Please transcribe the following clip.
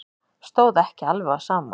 Stóð ekki alveg á sama.